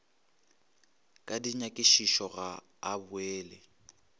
ka dinyakišišo ga a boele